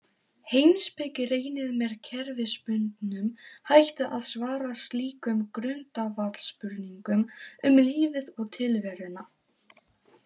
Heimspeki reynir með kerfisbundnum hætti að svara slíkum grundvallarspurningum um lífið og tilveruna.